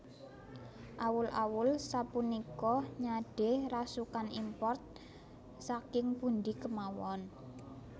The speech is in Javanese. Awul awul sapunika nyade rasukan import saking pundi kemawon